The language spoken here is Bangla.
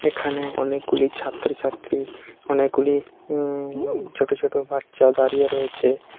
এখানে অনেকগুলি ছাত্রছাত্রী অনেকগুলি উম উম ছোট ছোট বাচ্চা দাঁড়িয়ে রয়েছে ।